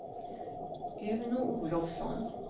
Uno Olovsson